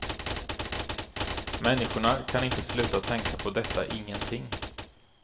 Människorna kan inte sluta tänka på detta ingenting.